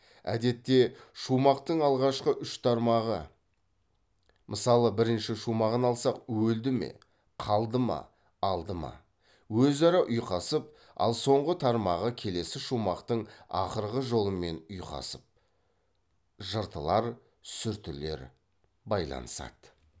әдетте шумақтың алғашқы үш тармағы өзара ұйқасып ал соңғы тармағы келесі шумақтың ақырғы жолымен ұйқасып байланысады